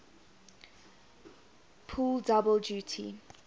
pull double duty